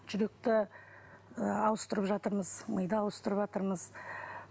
жүректі ы ауыстырып жатырмыз миды ауыстырыватырмыз